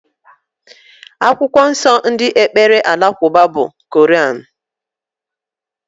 Akwụkwọ nsó ndị ekpere alakụba bụ Kọranú.